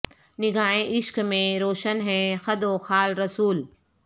نگاہ عشق میں روشن ہیں خد و خال رسول